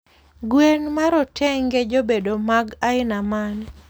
Gwen marotenge jabedo mag aina mane?